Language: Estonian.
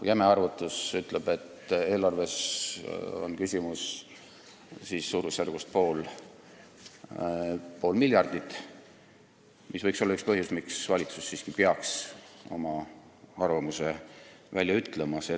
Jäme arvutus ütleb, et eelarve mõttes on küsimus suurusjärgus pool miljardit eurot, mis võiks olla üks põhjus, miks valitsus siiski peaks oma arvamuse välja ütlema.